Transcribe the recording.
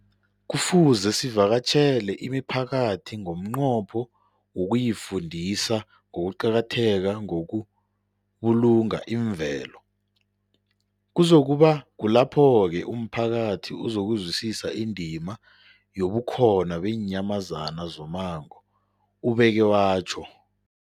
Kufuze sivakatjhele imiphakathi ngomnqopho wokuyifundisa ngokuqakatheka kokubulunga imvelo. Kuzoku ba kulapho-ke umphakathi uzokuzwisisa indima yobukhona beenyamazana zommango, ubeke watjho.